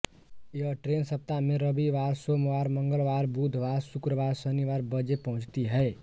यह ट्रेन सप्ताह में रविवार सोमवार मंगलवार बुधवार शुक्रवार शनिवार बजे पहुंचती है